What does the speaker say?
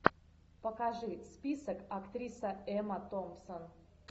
покажи список актриса эмма томпсон